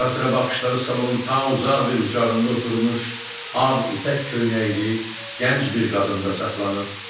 Arasıra baxışları salonun ta uzaq bir bucağında oturmuş, ağ ipək köynəkli gənc bir qadında saxlanırdı.